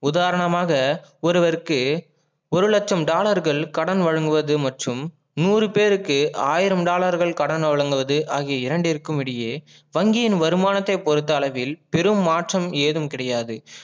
உதாரணமாக ஒருவற்கு ஒரு லட்சம் dollar கள் கடன் வழங்குவது மற்றும் நூறு பேருக்கு ஆயிரம் dollar கள் கடன் வழங்குவது ஆகிய இரண்டிற்கும் இடையே வங்கியின் வருமானத்தை பொறுத்த அளவில் பெரும் மாற்றம் ஏதும் கிடையாது